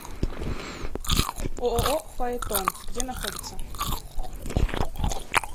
ооо фаэтон где находится